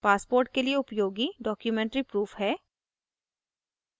passport के लिए उपयोगी documentary प्रूफ है